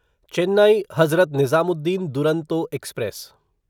Chennai Hazrat Nizamuddin Duronto express